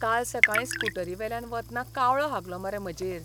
काल सकाळीं स्कूटरीवेल्यान वतना कावळो हागलो मरे म्हाजेर.